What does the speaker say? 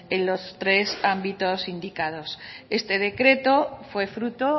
en los tres ámbitos indicados este decreto fue fruto